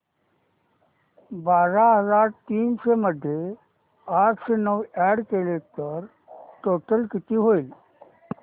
बारा हजार तीनशे मध्ये आठशे नऊ अॅड केले तर टोटल किती होईल